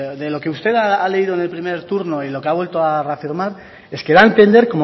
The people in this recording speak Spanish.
de lo que usted ha leído del primer turno y lo que ha vuelto a reafirmar es que da a entender